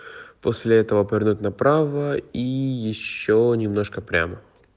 после этого повернуть направо и ещё немножко прямо